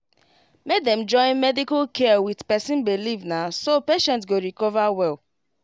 make dem join medical care with person believe na so patient go recover well